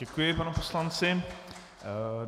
Děkuji panu poslanci.